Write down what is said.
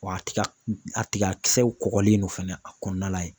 Wa a tiga a tigakisɛ kɔgɔlen don fana a kɔnɔna la yen